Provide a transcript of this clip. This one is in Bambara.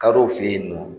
Kadɔw fe yen nɔ